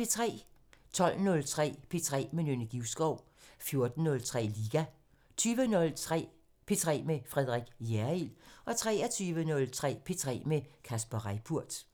12:03: P3 med Nynne Givskov 14:03: Liga 20:03: P3 med Frederik Hjerrild 23:03: P3 med Kasper Reippurt